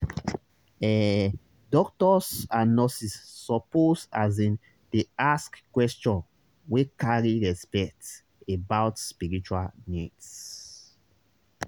ehh doctors and nurses suppose asin dey ask questions wey carry respect about spiritual needs.